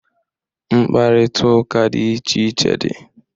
Mkparita ụka dị iche iche dị.